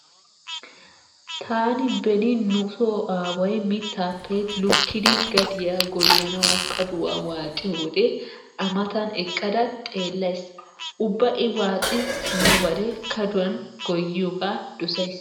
Taani beni nu so aaway mittaappe lukkidi gadiya gooyyanwu kaduwa waaxiyo wode A matan eqqada xeellays. Ubba I waxi simmobare kaduwan goyyiyogaa dosays.